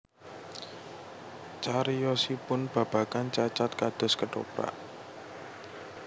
Cariyosipun babagan Cacad kados kethoprak